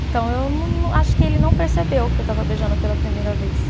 Então, eu não, acho que ele não percebeu que eu estava beijando pela primeira vez.